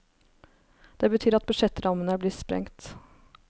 Det betyr at budsjettrammene blir sprengt.